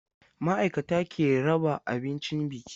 Ma'aikata ke raba abincin biki.